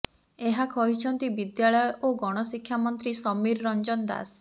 ଏହା କହିଛନ୍ତି ବିଦ୍ୟାଳୟ ଓ ଗଣ ଶିକ୍ଷା ମନ୍ତ୍ରୀ ସମୀର ରଞ୍ଜନ ଦାଶ